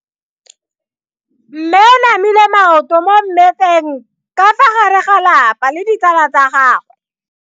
Mme o namile maoto mo mmetseng ka fa gare ga lelapa le ditsala tsa gagwe.